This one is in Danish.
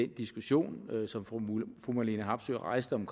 diskussion som fru marlene harpsøe rejste om